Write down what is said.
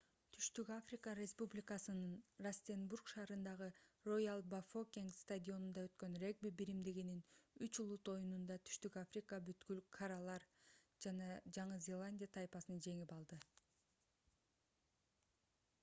түштүк африка республикасынын растенбург шаарындагы роял-бафокенг стадионунда өткөн регби биримдигинин үч улут оюнунда түштүк африка бүткүл каралар жаңы зеландия тайпасын жеңип алды